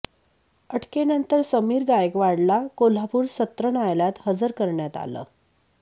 अटकेनंतर समीर गायकवाडला कोल्हापूर सत्र न्यायालयात हजर करण्यात आलं